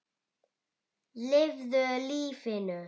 Lifðu lífinu.